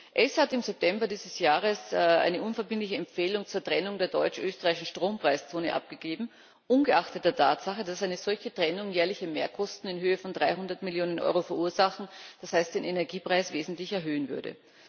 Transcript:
ACER hat im September dieses Jahres eine unverbindliche Empfehlung zur Trennung der deutsch österreichischen Strompreiszone abgegeben, ungeachtet der Tatsache, dass eine solche Trennung jährliche Mehrkosten in Höhe von 300 Millionen Euro verursachen, und damit den Energiepreis wesentlich erhöhen würde.